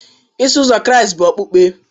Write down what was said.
Iso Ụzọ Kraịst bụ okpukpe